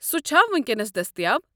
سہُ چھا وٕنِكینس دستیاب؟